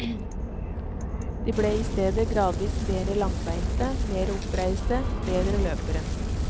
De ble i stedet gradvis mere langbeinte, mere oppreiste, bedre løpere.